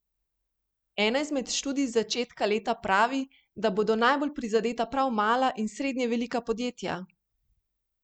Ena izmed študij z začetka leta pravi, da bodo najbolj prizadeta prav mala in srednje velika podjetja?